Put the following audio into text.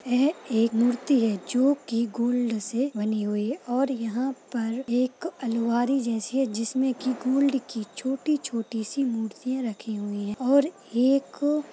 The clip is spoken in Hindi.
यह एक मूर्ति है जो की गोल्ड से बनी हुई है और यहाँ पर एक अलमारी जैसी है जिसमें की गोल्ड की छोटी-छोटी सी मूर्तियाँ रखी हुई है और एक --